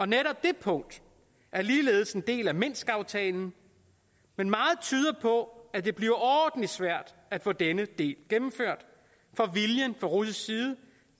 netop det punkt er ligeledes en del af minskaftalen men meget tyder på at det bliver overordentlig svært at få denne del gennemført for viljen fra russisk side